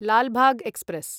Lal Bagh express